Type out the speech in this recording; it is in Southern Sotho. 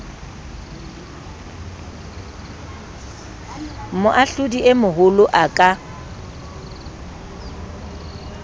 moahlodi e moholo a ka